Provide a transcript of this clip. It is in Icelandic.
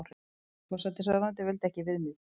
Forsætisráðuneytið vildi ekki viðmið